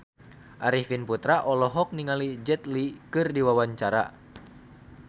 Arifin Putra olohok ningali Jet Li keur diwawancara